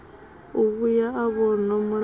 u vhuya a vhonwa mulandu